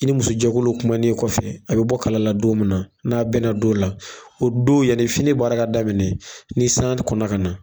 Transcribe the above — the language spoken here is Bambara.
I ni musojɛkuluw kumanen kɔfɛ a bɛ bɔ kala la don min na n'a bɛna don la o don yani fini baara ka daminɛ ni san kɔnna ka na.